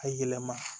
A yɛlɛma